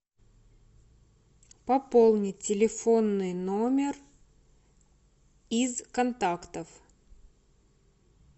пополнить телефонный номер из контактов